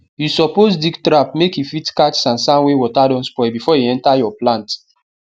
you suppose dig trap mske e fit catch sand sand wey water don spoil before e enter your plsnt